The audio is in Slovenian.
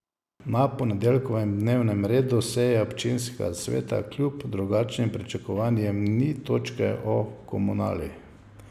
Na ponedeljkovem dnevnem redu seje občinskega sveta kljub drugačnim pričakovanjem ni točke o Komunali.